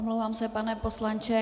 Omlouvám se, pane poslanče.